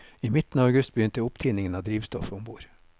I midten av august begynte opptiningen av drivstoffet om bord.